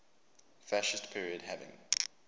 fascist period having